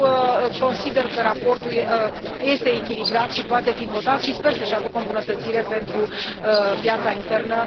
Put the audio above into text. Eu consider că raportul este echilibrat și poate fi votat și sper să aducă o îmbunătățire pentru piața internă.